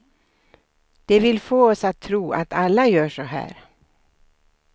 De vill få oss att tro att alla gör så här.